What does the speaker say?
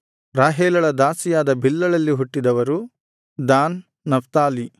ರಾಹೇಲಳ ದಾಸಿಯಾದ ಬಿಲ್ಹಳಲ್ಲಿ ಹುಟ್ಟಿದವರು ದಾನ್ ನಫ್ತಾಲಿ